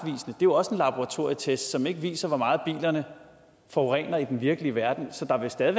jo også en laboratorietest som ikke viser hvor meget bilerne forurener i den virkelige verden så der vil stadig